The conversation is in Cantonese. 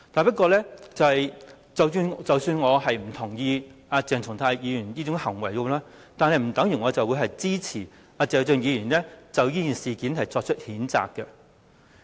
不過，即使我不認同鄭松泰議員這個行為，也不等於我會支持謝偉俊議員就這件事作出譴責。